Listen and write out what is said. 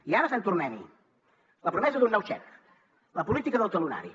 i ara sant tornem hi la promesa d’un nou xec la política del talonari